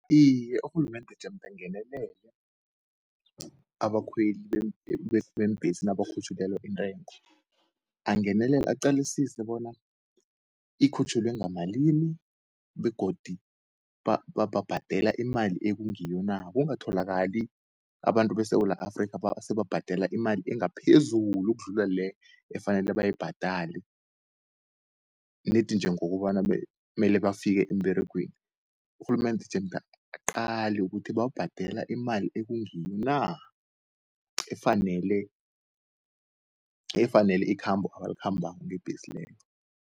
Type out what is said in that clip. Iye urhulumende jemda angenelele abakhweli beembhesi nabakhutjhulelwa intengo. Angenelele aqalisise bona ikhutjhulwe ngamalimi, begodu bhadela imali ekungiyo na. Kungatholakali abantu beSewula Afrikha seba bhadela imali engaphezulu ukudlula le, efanele bayibhadale, nedi njengokobana mele bafike emberegweni. Urhulumende jemda aqale, ukuthi babhadela imali ekungiyo na, efanele ikhambo abalikhambako ngebhesi leyo.